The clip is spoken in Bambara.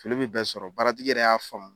Fili bɛ bɛɛ sɔrɔ baara tigi yɛrɛ y'a faamu.